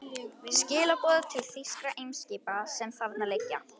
Skilaboð til þýskra eimskipa, sem þarna liggja.